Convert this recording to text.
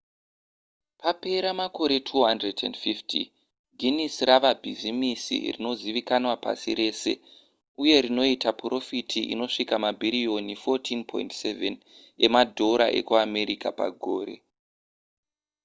papera makore 250 guinness rava bhizimisi rinozivikanwa pasi rese uye rinoita purofiti inosvika mabhiriyoni 14.7 emadhora ekuamerica pagore